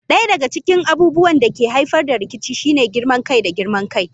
Ɗaya daga cikin abubuwan da ke haifar da rikici shine girman kai da girman kai.